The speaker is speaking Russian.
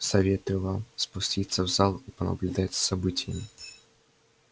советую вам спуститься в зал и понаблюдать за событиями